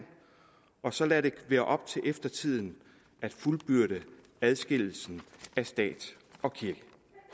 og så lader det være op til eftertiden at fuldbyrde adskillelsen af stat og kirke